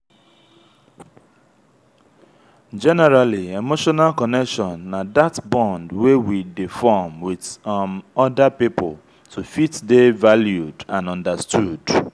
generally emotional connection na that bond wey we dey form with um oda pipo to fit dey valued and understood